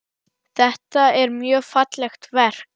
Það er mjög fallegt verk.